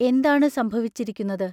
എന്താണു സംഭവിച്ചിരിക്കുന്നത്?